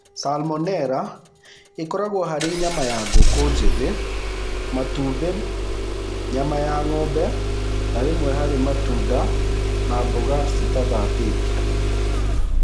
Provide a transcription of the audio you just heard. Salmonella ĩkoragwo harĩ nyama ya ngũkũ njĩthĩ, matumbĩ, nyama ya ng'ombe na rĩmwe harĩ matunda na mboga citathambĩtio.